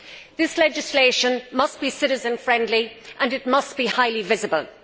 This legislation must be citizen friendly and it must be highly visible.